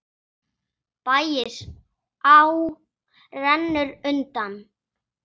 Bægisá rennur undan.